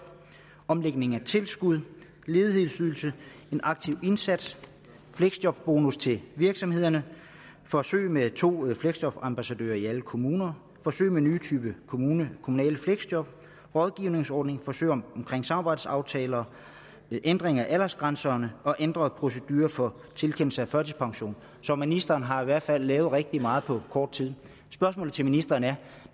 omlægning af tilskud ledighedsydelse en aktiv indsats fleksjobbonus til virksomhederne forsøg med to fleksjobambassadører i alle kommuner forsøg med en ny type kommunale fleksjob rådgivningsordning forsøg omkring samarbejdsaftaler ændring af aldersgrænserne og ændret procedure for tilkendelse af førtidspension så ministeren har i hvert fald lavet rigtig meget på kort tid spørgsmålet til ministeren er